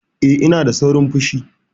Eh, ina da saurin fushi.